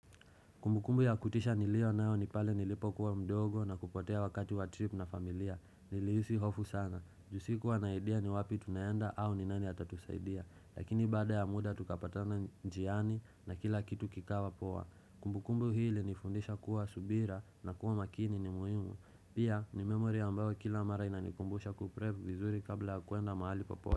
Kumbukumbu ya kutisha nilio nao nipale nilipo kuwa mdogo na kupotea wakati wa trip na familia. Nilihisi hofu sana. Juu sikuwa na idea ni wapi tunaenda au ni nani atatusaidia. Lakini bada ya muda tukapatana njiani na kila kitu kikawa poa. Kumbukumbu hii ilinifundisha kuwa subira na kuwa makini ni muhimu. Pia ni memory ambayo kila mara inanikumbusha kuprevi vizuri kabla kuenda mahali popote.